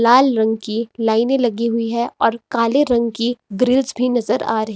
लाल रंग की लाइनें लगी हुई हैं और काले रंग की ग्रिल्स भी नजर आ रही--